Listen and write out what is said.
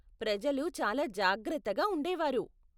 ప్రజలు చాలా జాగ్రత్తగా ఉండేవారు.